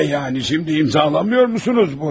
Nə yəni indi imzalamırsınız bunu?